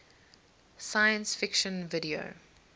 science fiction video